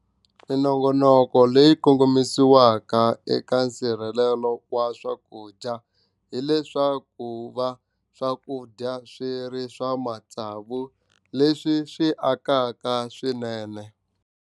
Minongonoko leyi kongomisiweke eka nsirhelelo wa swakudya hileswaku va swakudya swi ri swa matsavu leswi swi akaka swinene.